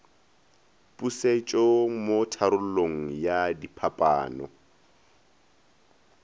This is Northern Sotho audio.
pusetšo mo tharollong ya diphapano